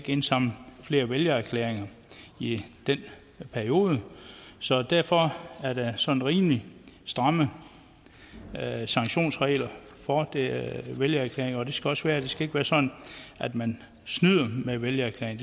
indsamle flere vælgererklæringer i en periode så derfor er der sådan rimelig stramme sanktionsregler for vælgererklæringer og det skal der også være det skal ikke være sådan at man snyder med vælgererklæringer